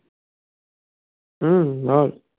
হুম, বল